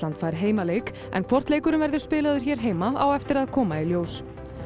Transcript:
fær heimaleik en hvort leikurinn verður spilaður hér heima á eftir að koma í ljós